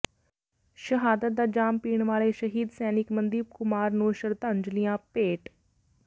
ਸ਼ਹਾਦਤ ਦਾ ਜਾਮ ਪੀਣ ਵਾਲੇ ਸ਼ਹੀਦ ਸੈਨਿਕ ਮਨਦੀਪ ਕੁਮਾਰ ਨੰੂ ਸ਼ਰਧਾਂਜਲੀਆਂ ਭੇਟ